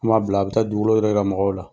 Kuma bila a bɛ taa yɛrɛ ka mɔgɔ la